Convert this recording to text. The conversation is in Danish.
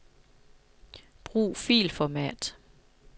Brug filformat.